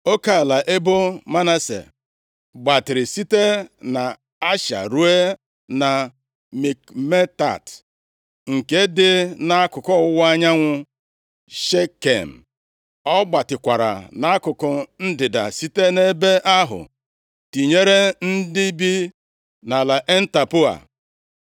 Oke ala ebo Manase gbatịrị site nʼAsha ruo na Mikmetat, nke dị nʼakụkụ ọwụwa anyanwụ Shekem. Ọ gbatịkwara nʼakụkụ ndịda site nʼebe ahụ tinyere ndị bi nʼala En-Tapụọa.